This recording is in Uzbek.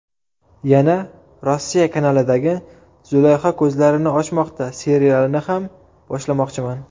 Yana ‘Rossiya’ kanalidagi ‘Zulayho ko‘zlarini ochmoqda’ serialini ham boshlamoqchiman.